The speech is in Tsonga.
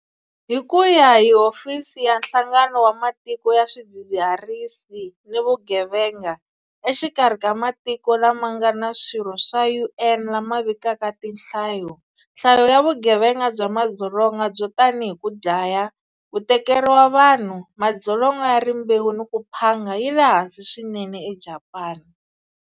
Hi ku ya hi Hofisi ya Nhlangano wa Matiko ya Swidzidzirisi ni Vugevenga, exikarhi ka matiko lama nga swirho swa UN lama vikaka tinhlayo, nhlayo ya vugevenga bya madzolonga byo tanihi ku dlaya, ku tekeriwa vanhu, madzolonga ya rimbewu ni ku phanga yi le hansi swinene eJapani.